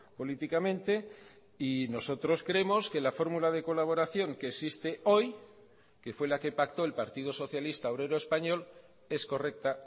políticamente y nosotros creemos que la fórmula de colaboración que existe hoy que fue la que pactó el partido socialista obrero español es correcta